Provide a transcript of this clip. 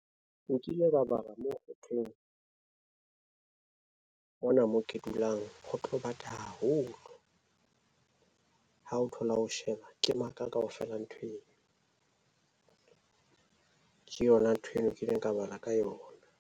Nkile bala mo ho thweng, mona mo ke dulang ho tlo bata haholo. Ha o thola o sheba ke maka kaofela ntho eno. Ke yona ntho eno nkileng ka bala ka yona.